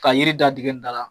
Ka yiri da tikɛ n da la.